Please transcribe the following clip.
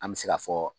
An bɛ se ka fɔ